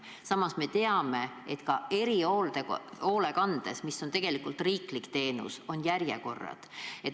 Samas me teame, et ka erihoolekandes, mis on tegelikult riiklik teenus, on järjekorrad.